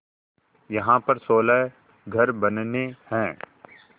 यहाँ पर सोलह घर बनने हैं